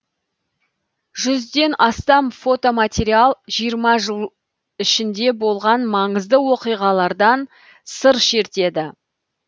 жүзден астам фотоматериал жиырма жыл ішінде болған маңызды оқиғалардан сыр шертеді